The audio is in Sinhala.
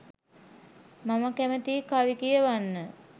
මම කැමතියි කවි කියවන්න